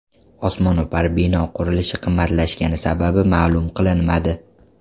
Osmono‘par bino qurilishi qimmatlashgani sababi ma’lum qilinmadi.